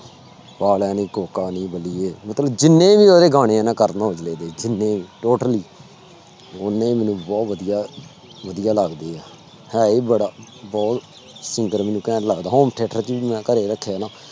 ਪਾ ਲੈ ਨੀ ਕੋਕਾ ਨੀ ਬੱਲੀਏ ਮਤਲਬ ਜਿੰਨੇ ਵੀ ਉਹਦੇ ਗਾਣੇ ਹੈ ਕਰਨ ਔਜਲੇ ਦੇ ਜਿੰਨੇ ਵੀ totally ਓਨੇ ਹੀ ਮੈਨੂੰ ਬਹੁਤ ਵਧੀਆ ਵਧੀਆ ਲੱਗਦੇ ਆ, ਹੈ ਹੀ ਬੜਾ ਬਹੁ ਸੁੰਦਰ ਮੈਨੂੰ ਘੈਂਟ ਲੱਗਦਾ home theater ਵੀ ਮੈਂ ਘਰੇ ਰੱਖਿਆ ਨਾ